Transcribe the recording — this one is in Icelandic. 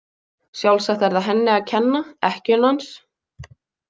Sjálfsagt er það henni að kenna, ekkju hans.